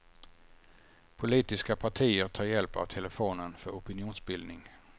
Politiska partier tar hjälp av telefonen för opinionsbildning.